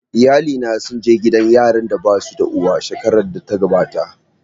Iyalina sun je gidan yaran da basu da uwa shekarar da ta gabata